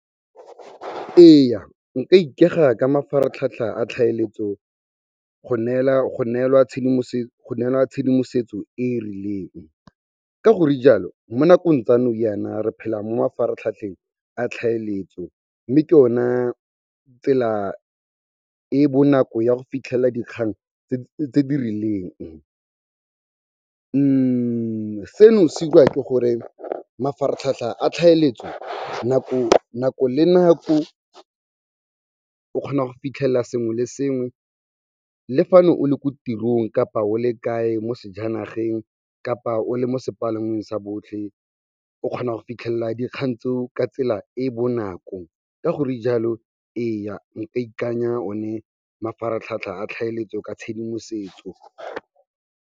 Ee, nka ikega ka mafaratlhatlha a tlhaeletso go neelwa tshedimosetso e rileng. Ka gore jalo, mo nakong tsa nou yana re phela mo mafaratlhatlheng a tlhaeletso mme ke ona tsela e bonako ya go fitlhela dikgang tse di rileng. Seno se 'iriwa ke gore mafaratlhatlha a tlhaeletso, nako le nako o kgona go fitlhela sengwe le sengwe le fa ne o le ko tirong kapa o le kae mo sejanageng kapa o le mo sepalangweng sa botlhe, o kgona go fitlhelela dikgang tseo ka tsela e bonako. Ka gore jalo ee, nka ikanya one mafaratlhatlha a tlhaeletso ka tshedimosetso.